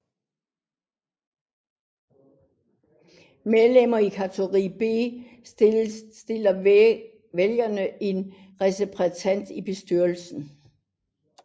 Medlemmer i kategori B stiller vælger én repræsentant i bestyrelsen